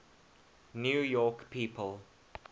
new york people